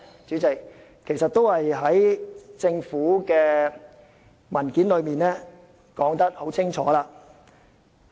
主席，其實政府的文件已清楚說明。